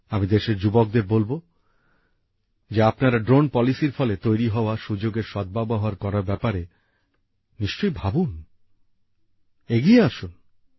আমি দেশের যুবকদের বলবো যে আপনারা ড্রোন নীতির ফলে তৈরি হওয়া সুযোগের সদ্ব্যবহার করার ব্যাপারে নিশ্চয়ই ভাবুন এগিয়ে আসুন